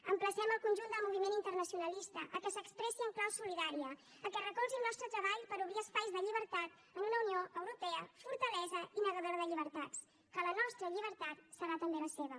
emplacem el conjunt del moviment internacionalista que s’expressi en clau solidària que recolzi el nostre treball per obrir espais de llibertat en una unió europea fortalesa i negadora de llibertats que la nostra llibertat serà també la seva